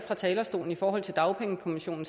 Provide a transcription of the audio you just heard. dagpengekommission